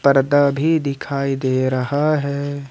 पर्दा भी दिखाई दे रहा है।